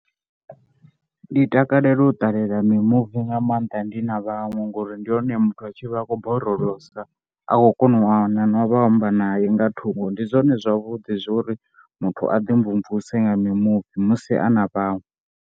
Ndi takalela u ṱalela mimuvi nga maanḓa ndi na vhaṅwe ngori ndi hone muthu a tshi vha a khou borolosa a khou kona u wana na vha u amba naye nga thungo. Ndi zwone zwavhuḓi zwo uri muthu a ḓimvumvuse nga mimuvi musi a na vhaṅwe.